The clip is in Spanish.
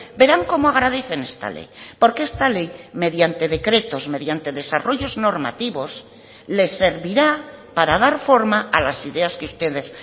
verán como agradecen esta ley porque esta ley mediante decretos mediante desarrollos normativos les servirá para dar forma a las ideas que ustedes